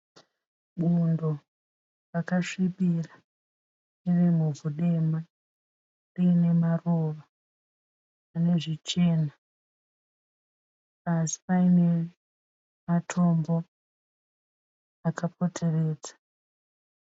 Bundo rakasvibira riri muvhu dema riine maruva ane zvichena. Pasi paine matombo akapoteredza.